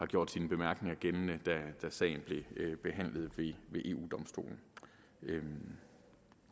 gjort sine bemærkninger gældende da sagen blev behandlet ved eu domstolen det